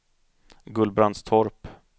Gullbrandstorp